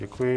Děkuji.